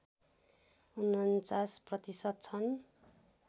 ४९ प्रतिशत छन्